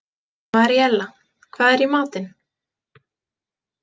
Maríella, hvað er í matinn?